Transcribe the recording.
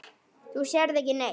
Þú sérð ekki neitt!